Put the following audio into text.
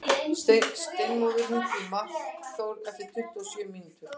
Steinmóður, hringdu í Markþór eftir tuttugu og sjö mínútur.